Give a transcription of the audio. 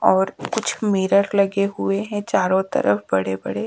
और कुछ मिरर लगे हुए हैं चारों तरफ बड़े बड़े--